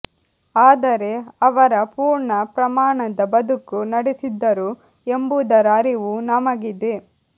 ಆದರೆ ಅವರ ಪೂರ್ಣ ಪ್ರಮಾಣದ ಬದುಕು ನಡೆಸಿದ್ದರು ಎಂಬುದರ ಅರಿವು ನಮಗಿದೆ